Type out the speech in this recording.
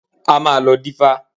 A máa lọ dífá.